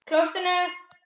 Í stað Öldu